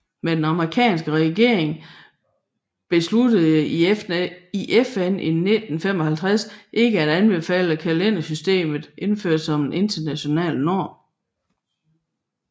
Men den amerikanske regering besluttede i FN i 1955 ikke at anbefale kalendersystemet indført som international norm